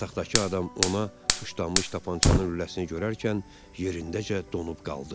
Yataqdakı adam ona tuşlanmış tapançanın lüləsini görərkən yerindəcə donub qaldı.